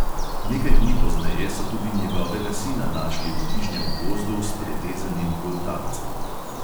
Nekaj dni pozneje so tudi njegovega sina našli v bližnjem gozdu s prerezanim goltancem.